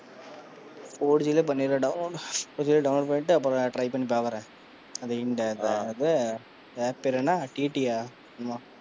Four g லயே பன்னிரேன், four g download பன்னிட்டு, அப்பறம் try பாக்குறேன், அந்த app பேர் என்ன? TT யா?